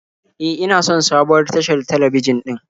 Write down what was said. E, ina son sabuwar tashar talabijin din